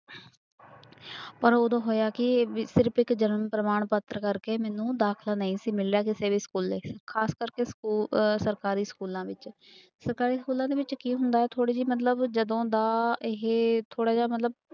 ਪਰ ਉਦੋਂ ਹੋਇਆ ਕੀ ਸਿਰਫ਼ ਇੱਕ ਜਨਮ ਪ੍ਰਮਾਣ ਪੱਤਰ ਕਰਕੇ ਮੈਨੂੰ ਦਾਖਲਾ ਨਹੀਂ ਸੀ ਮਿਲਿਆ ਕਿਸੇ ਵੀ ਸਕੂਲੇ, ਖ਼ਾਸ ਕਰਕੇ ਸਕੂ ਅਹ ਸਰਕਾਰੀ ਸਕੂਲਾਂ ਵਿੱਚ ਸਰਕਾਰੀ ਸਕੂਲਾਂ ਦੇ ਵਿੱਚ ਕੀ ਹੁੰਦਾ ਹੈ ਥੋੜ੍ਹੀ ਜਿਹੀ ਮਤਲਬ ਜਦੋਂ ਦਾ ਇਹ ਥੋੜ੍ਹਾ ਜਿਹਾ ਮਤਲਬ